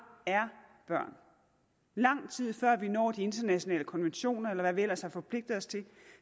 er børn lang tid før vi når de internationale konventioner eller hvad vi ellers har forpligtet os til